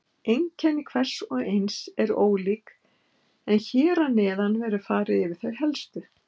Einkenni hvers og eins eru ólík en hér að neðan verður farið yfir þau helstu.